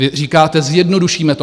Vy říkáte - zjednodušíme to.